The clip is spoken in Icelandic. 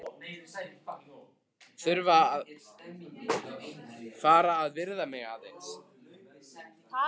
Þarf að fara að viðra mig aðeins.